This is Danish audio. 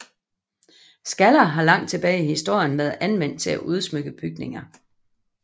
Skaller har langt tilbage i historien været anvendt til at udsmykke bygninger